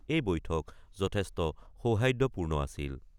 ৰাষ্ট্ৰপতিৰ মাজৰ এই বৈঠক যথেষ্ট সৌহাদ্যপূৰ্ণ আছিল।